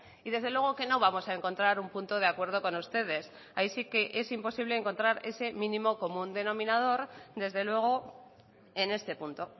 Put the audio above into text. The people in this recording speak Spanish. y desde luego que no vamos a encontrar un punto de acuerdo con ustedes ahí sí que es imposible encontrar ese mínimo común denominador desde luego en este punto